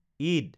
Eid